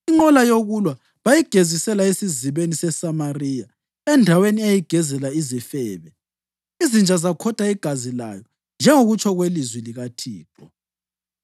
Inqola yokulwa bayigezisela esizibeni seSamariya (endaweni eyayigezela izifebe), izinja zakhotha igazi layo, njengokutsho kwelizwi likaThixo.